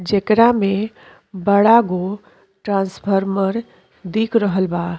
जेकरा में बड़ा गो ट्राँफार्मर दिख रहल बा।